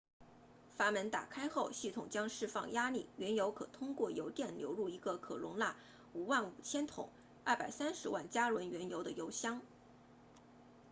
阀门打开后系统将释放压力原油可通过油垫流入一个可容纳55000桶230万加仑原油的油箱